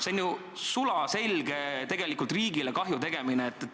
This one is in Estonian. See on ju sulaselge riigile kahju tegemine.